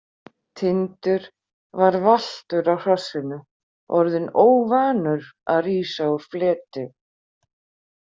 Tindur var valtur á hrossinu, orðinn óvanur að rísa úr fleti.